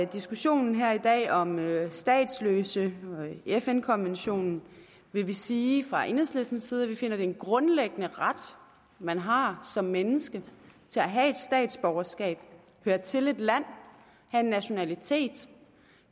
diskussionen her i dag om statsløse i fn konventionen vil vi sige fra enhedslistens side at vi finder det er en grundlæggende ret man har som menneske at have et statsborgerskab høre til et land have en nationalitet